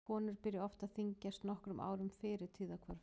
Konur byrja oft að þyngjast nokkrum árum fyrir tíðahvörf.